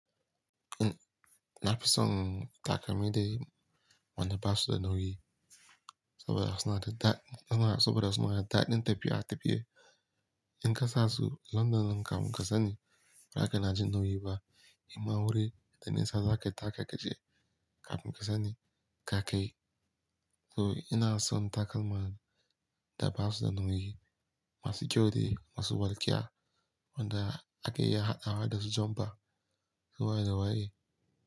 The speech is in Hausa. Eh, na fi son takalmi dai wanda ba su da nauyi saboda suna da daɗin suma saboda suna da daɗin tafiya a tafiye. In ka sa su London kam kasani ba kana jin nauyi ba, amma wuri da nisa za ka taka-ka je kafin ka sani ka kai. So ina son takalman da ba su da nauyi, masu kyau ne, masu walƙiya wanda ake iya haɗawa da su janfa ko waye da waye.